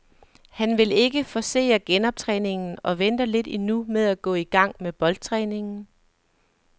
Han vil ikke forcere genoptræningen og venter lidt endnu med at gå i gang med boldtræningen.